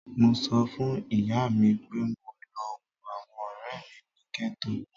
Mo sọ fun iya mi pe mo lọ wo awọn ọrẹ mi ni ghetto